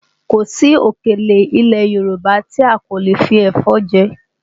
Kò sí òkèlè ilẹ̀ Yorùbá ti a kò lè fi ẹ̀fọ́ jẹ